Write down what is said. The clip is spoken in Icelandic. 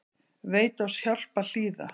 Veit oss hjálp að hlýða